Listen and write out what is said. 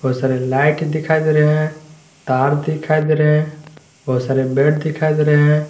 सारे लाइट दिखाई दे रहे हैं तार दिखाई दे रहे हैं बहुत सारे बेड दिखाई दे रहे हैं।